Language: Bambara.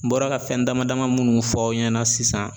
N bɔra ka fɛn dama dama munnu fɔ aw ɲɛna sisan.